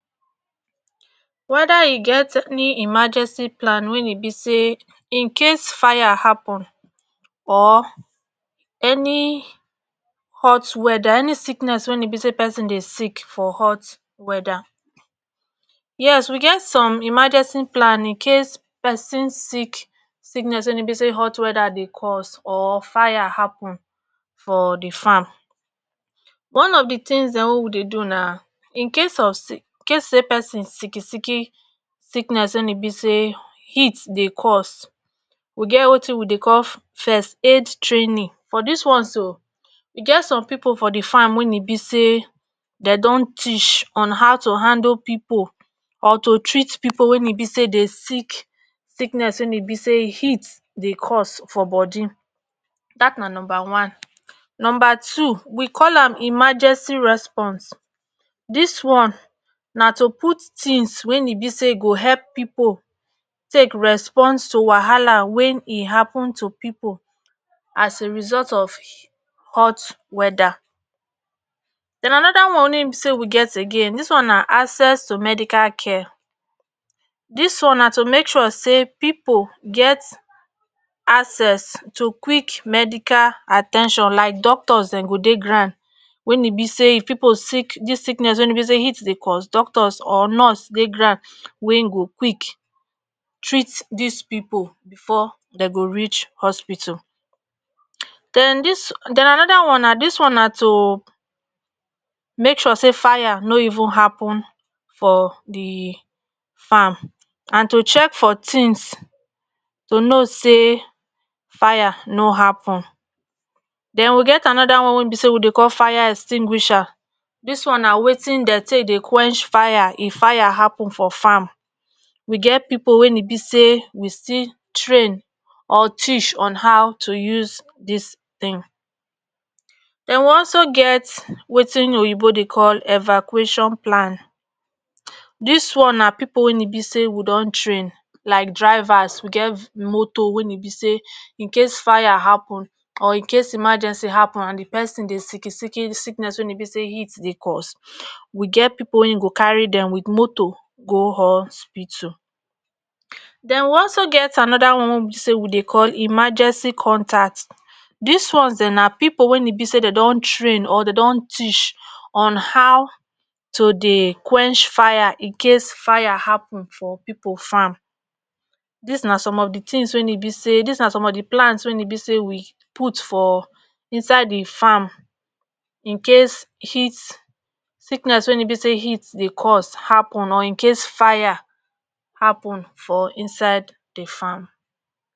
weda e get any emargenci plan wey e be say in case fire hapun or any hot weda any sickness wen e be say person dey sick for hot weda yes we get some emergenci plan incase pesin sick sickness wey e be say hot weda dey cause or fire hapun for di farm one of di tins dem wo we dey do na in case of si case say persin icki sicki sickness wen e be say heat dey cause we get watin we dey call first aid trainin for dis one so e get some pipo for di farm wen e be say dem don teach on how to handle pipoll or to treat pipol wen e be say dey sick sickness wey e be say heat dey cause for bodi dat na numbe one. numba two we call am emergeci response dis one na to put tins wey e be say go hep pipo take respons ttu wahala wey e hapen tu pipo as a result of hot weda. den anoda one wen e be say we get again dis one na access to medical care dis one na to make sure say pipo get get access to quick medical at ten tion like doktos dem go dey ground wen e be say if pipo sick did sickness wen e be say heat dey cause, doktos or nurse dey grand wen go quik treat dis pipo bfor den go reach hospitul. den dis den anoda one na dis one na to make sure say fire no even hapen for di farm and to check for tins to no say fire no hapen. den we get anoda one wey e bey say we dey call fire extinguisher, dis one na watin den take dey qwench fire if fire if fire hapen for farm, we get pipo wen e be say we still train or teach on how to use dis tin. den wu also get watin oyibo dey call evacuation plan, dis one na pipo wen e be say wu don train like drivers we get moteo wey e be say in case fire hapen or in case emergenci hapen and di persin dey sicki sicki sickness wen e be say heat dey cause, we ge pipo wey go carry dem wit moto go hospitul. den wu also get anoda one wey e be say wu dey call emergenci contat, dis ones dem na pipo wen e be say den don train or dn do teach on how tu dey qwench fire incase fire happen for pipo farm. dis na som of di tins wey e be say dis na som of di plan wen e be say we put for inside di farm incase heat sickness wen e be say heat dey cause hapen or incase fire hapen for inside di farm